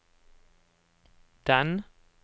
den